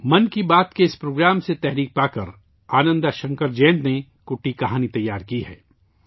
' من کی بات ' کے اس پروگرام سے تحریک لے کر آنندہ شنکر جینت نے ' کُٹی کہانی' تیار کی ہے